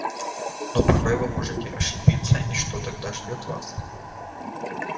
но порой вы можете ошибиться и что тогда ждёт вас